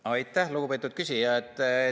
Aitäh, lugupeetud küsija!